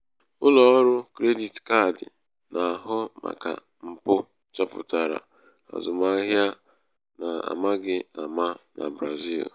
ụlọ ọrụ krediti kaadi na-ahụ màkà mpụ chọpụtara azụmahịa n'amaghị ama na brazil.